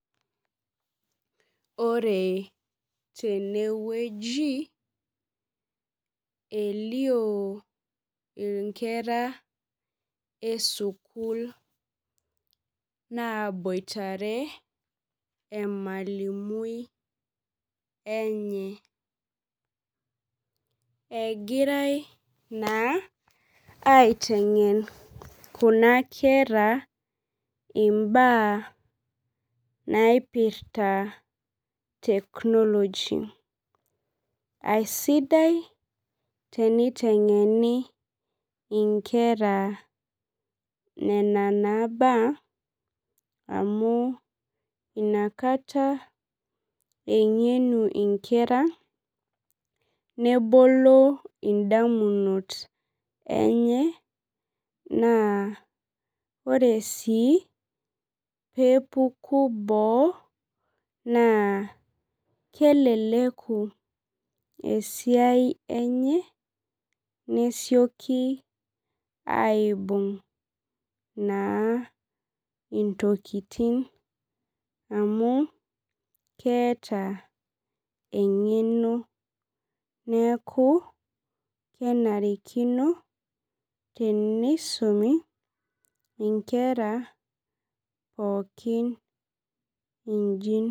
Ore tenewueji, elio inkera esukuul naboitare emalimui enye. Egirai naa aiteng'en kuna kera imbaa naipirta technology. Aisidai teniteng'eni inkera nena naa baa, amu inakata eng'enu inkera nebolo indamunot enye, naa ore si pepuku boo, naa keleleku esiai enye, nesioki aibung' naa intokiting amu keeta eng'eno. Neeku kenarikino tenisumi inkera pookin iji.